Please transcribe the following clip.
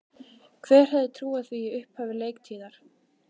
Hver hefði trúað því í upphafi leiktíðar?